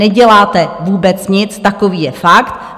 Neděláte vůbec nic, takový je fakt.